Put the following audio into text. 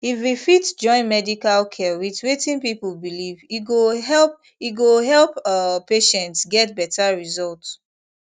if we fit join medical care with wetin people believe e go help e go help um patients get better result